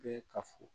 Bee ka fu